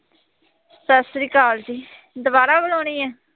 ਸਤਿ ਸ੍ਰੀ ਅਕਾਲ ਜੀ, ਦੁਬਾਰਾ ਬੁਲਾਉਣੀ ਹੈ,